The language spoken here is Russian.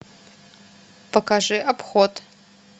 покажи обход